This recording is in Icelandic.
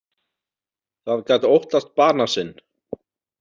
Það gat óttast bana sinn.